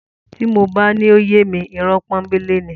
Tí mo bá ní ó yé mi, irọ́ pọ́nńbélé ni.